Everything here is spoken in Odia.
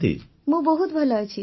ବର୍ଷାବେନ୍ ମୁଁ ବହୁତ ଭଲ ଅଛି